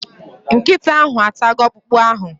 Nkịta ahụ atago okpụkpụ ahụ